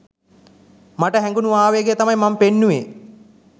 මට හැගුනු ආවේගය තමයි මම පෙන්නුවේ